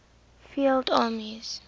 field armies